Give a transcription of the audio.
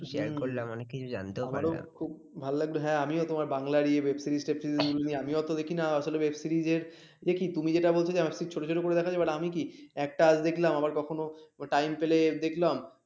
ভালো লাগলো হ্যাঁ আমিও তোমার Bangla web series, tap series নিয়ে আমিও তো দেখি না আসলে এই web series দেখি তুমি যেটা বলছ যে আমি খুব ছোট ছোট করে দেখা যায় but আমি কি আজ দেখলাম আবার কখনো time পেলে দেখলাম